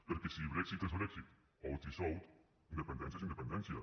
perquè si brexit és brexit out is out independència és independència